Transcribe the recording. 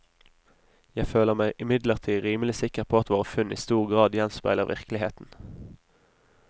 Jeg føler meg imidlertid rimelig sikker på at våre funn i stor grad gjenspeiler virkeligheten.